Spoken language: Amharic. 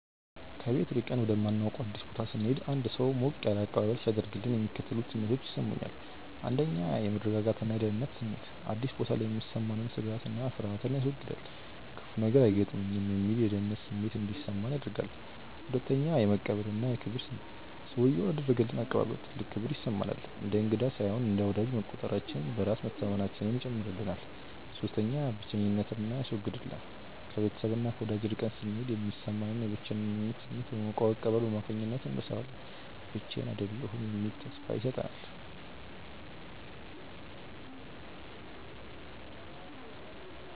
ከቤት ርቀን ወደማናውቀው አዲስ ቦታ ስንሄድ አንድ ሰው ሞቅ ያለ አቀባበል ሲያደርግልን የሚከተሉት ስሜቶች ይሰሙኛል፦ 1. የመረጋጋትና የደህንነት ስሜት፦ አዲስ ቦታ ላይ የሚሰማንን ስጋትና ፍርሃት ያስወግዳል። "ክፉ ነገር አይገጥመኝም" የሚል የደህንነት ስሜት እንዲሰማን ያደርጋል። 2. የመቀበልና የክብር ስሜት፦ ሰውዬው ላደረገልን አቀባበል ትልቅ ክብር ይሰማናል። እንደ እንግዳ ሳይሆን እንደ ወዳጅ መቆጠራችን በራስ መተማመናችንን ይጨምራል። 3. ብቸኝነትን ያስወግዳል፦ ከቤተሰብና ከወዳጅ ርቀን ስንሄድ የሚሰማንን የብቸኝነት ስሜት በሞቀው አቀባበል አማካኝነት እንረሳዋለን። ብቻዬን አይደለሁም የሚል ተስፋ ይሰጠናል።